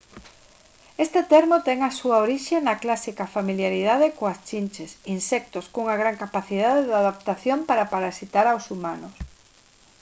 este termo ten a súa orixe na clásica familiaridade coas chinches insectos cunha gran capacidade de adaptación para parasitar aos humanos